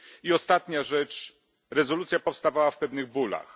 I ostatnia rzecz rezolucja powstawała w pewnych bólach.